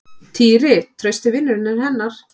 Týri, trausti vinurinn hennar.